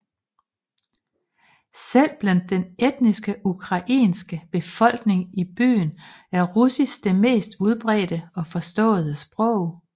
Selv blandt den etnisk ukrainske befolkning i byen er russisk det mest udbredte og forståede sprog